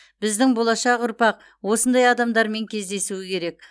біздің болашақ ұрпақ осындай адамдармен кездесуі керек